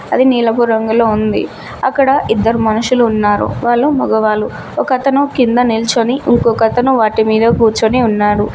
అది నీలపు రంగులో ఉంది అక్కడ ఇద్దరు మనుషులు ఉన్నారు వాళ్ళు మగవాళ్ళు ఒక అతను కింద నిల్చొని ఇంకొకతను వాటి మీద కూర్చొని ఉన్నాడు.